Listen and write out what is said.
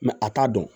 a t'a dɔn